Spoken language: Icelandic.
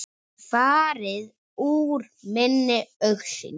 Farið úr minni augsýn.